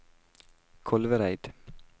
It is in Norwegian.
Kolvereid